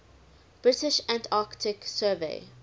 british antarctic survey